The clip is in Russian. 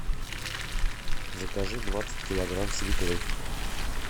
закажи двадцать килограмм свеклы